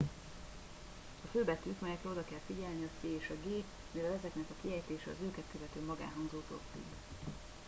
a fő betűk melyekre oda kell figyelni a c és a g mivel ezeknek a kiejtése az őket követő magánhangzótól függ